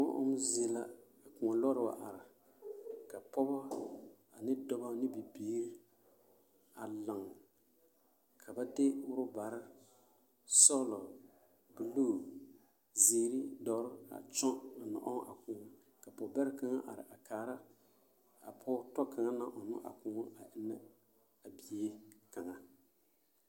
Bom ɔmmɔ zie la ka Koɔ lɔɔre wa are ka pɔgeba ane dɔba ne bibiiri a laŋ ka ba de ɔrɔbare sɔglɔ buluu zeere doɔre a kyɔŋ a na ɔŋ a koɔ ka pɔge bɛrɛ kaŋa a are a kaara a pɔge tɔ kaŋ naŋ ɔŋna a koɔ a eŋnɛ a bie kaŋa.